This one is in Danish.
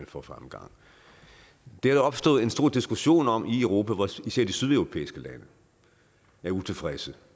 for fremgang det er der opstået en stor diskussion om i europa og især de sydeuropæiske lande er utilfredse